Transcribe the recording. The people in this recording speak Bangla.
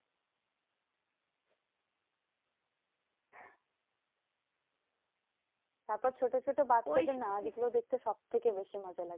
তারপর ছোট ছোট বাচ্চাদের নাচগুলো দেখতে সব থেকে মজা লাগে।